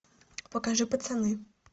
покажи пацаны